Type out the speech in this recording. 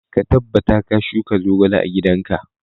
Ka tabbata ka shuka zogale a gidan ka!